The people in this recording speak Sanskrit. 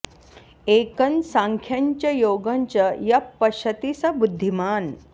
एकं साङ्ख्यं च योगं च यः पश्यति स बुद्धिमान्